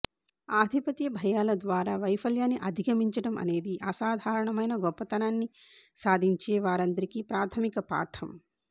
ఆధిపత్య భయాల ద్వారా వైఫల్యాన్ని అధిగమించడం అనేది అసాధారణమైన గొప్పతనాన్ని సాధించే వారందరికీ ప్రాథమిక పాఠం